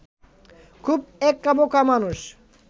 খুব একাবোকা মানুষ